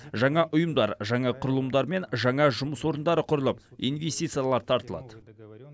жаңа ұйымдар жаңа құрылымдар мен жаңа жұмыс орындары құрылып инвестициялар тартылады